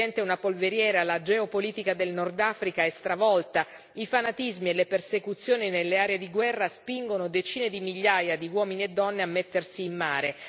Il Medio Oriente è una polveriera, la geopolitica del Nord Africa è stravolta, i fanatismi e le persecuzioni nelle aree di guerra spingono decine di migliaia di uomini e donne a mettersi in mare.